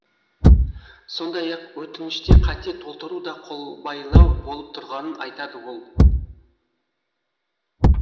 сондай ақ өтінішті қате толтыру да қолбайлау болып тұрғанын айтады ол